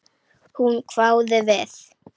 Hún hváði við.